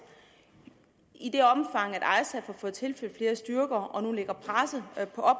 i det omfang at isaf har fået tilført flere styrker og nu lægger presset